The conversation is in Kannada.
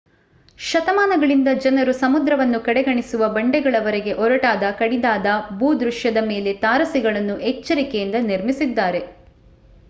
ಶತಮಾನಗಳಿಂದ ಜನರು ಸಮುದ್ರವನ್ನು ಕಡೆಗಣಿಸುವ ಬಂಡೆಗಳವರೆಗೆ ಒರಟಾದ ಕಡಿದಾದ ಭೂದೃಶ್ಯದ ಮೇಲೆ ತಾರಸಿಗಳನ್ನು ಎಚ್ಚರಿಕೆಯಿಂದ ನಿರ್ಮಿಸಿದ್ದಾರೆ